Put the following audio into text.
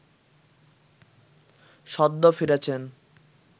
সদ্য ফিরেছেন